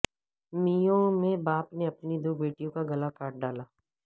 مئو میں باپ نے اپنی دو بیٹیوں کا گلا کاٹ ڈالا